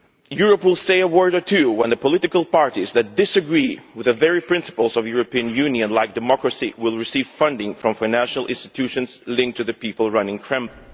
Europe will say a word or two when the political parties that disagree with the very principles of European Union, like democracy, receive funding from financial institutions linked to the people running the Kremlin.